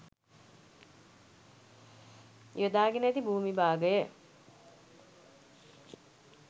යොදාගෙන ඇති භූමි භාගය